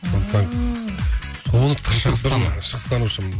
сондықтан шығыстанушымын